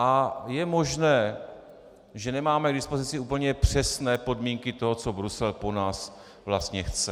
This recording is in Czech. A je možné, že nemáme k dispozici úplně přesné podmínky toho, co Brusel po nás vlastně chce.